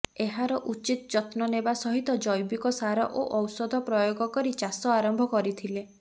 ଏହାର ଉଚିତ୍ ଯତ୍ନ ନେବା ସହିତ ଜ୘ବିକ ସାର ଓ ଔଷଧ ପ୍ରୟୋଗ କରି ଚାଷ ଆରମ୍ଭ କରିଥିଲେ